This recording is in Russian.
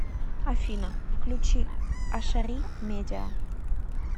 афина включи ашари медиа